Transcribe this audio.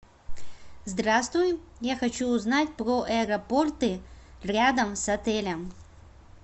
здравствуй я хочу узнать про аэропорты рядом с отелем